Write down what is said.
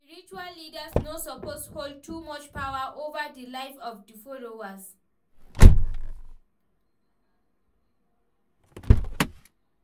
Spiritual leaders no suppose hold too much power over di live of di followers.